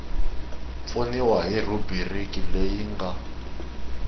pfuniwa hi rhubiriki leyi nga